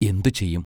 എന്തു ചെയ്യും?